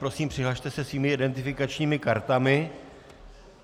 Prosím, přihlaste se svými identifikačními kartami.